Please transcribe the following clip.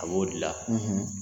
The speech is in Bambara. A b'o de la